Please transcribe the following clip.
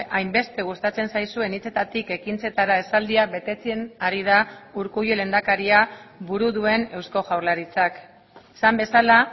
hainbeste gustatzen zaizuen hitzetatik ekintzetara esaldia betetzen ari da urkullu lehendakaria buru duen eusko jaurlaritzak esan bezala